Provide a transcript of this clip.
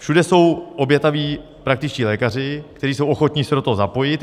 Všude jsou obětaví praktičtí lékaři, kteří jsou ochotni se do toho zapojit.